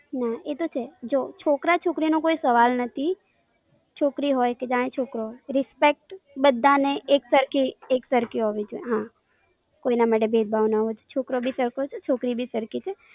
ના, એતો છે. જો, છોકરા છોકરી નો કોઈ સવાલ નથી. છોકરી હોય કે જાણે છોકરો. Respect બધા ને એક સરખી, એક સરખી હોવી જોઈ. હા. કોઈ ના માટે ભેદભાવ ન હોય, છોકરો ભી સરખો છે, છોકરી ભી સરખી છે.